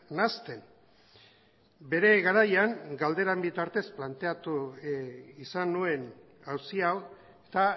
nahasten bere garaian galderen bitartez planteatu izan nuen auzi hau eta